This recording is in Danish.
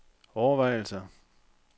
overvejelser